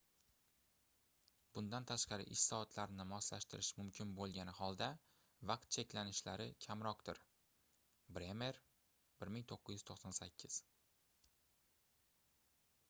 bundan tashqari ish soatlarini moslashtirish mumkin bo'lgani holda vaqt cheklanishlari kamroqdir. bremer 1998